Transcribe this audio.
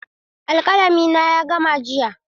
Alƙalami na ya gama jiya.